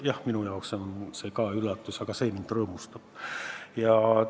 Jah, ka minu jaoks on see üllatus, aga see üllatus rõõmustab mind.